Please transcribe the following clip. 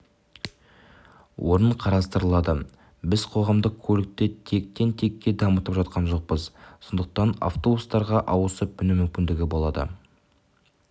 орын қарастырылады біз қоғамдық көлікті тектен-текке дамытып жатқан жоқпыз сондықтан автобустарға ауысып міну мүмкіндігі болады